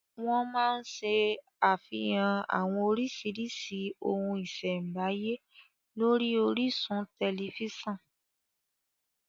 Wọ́n má ń ṣe àfihàn àwọn orísìírísìí ohun ìṣẹ̀m̀báyé lórí orísun tẹ̀lifísàn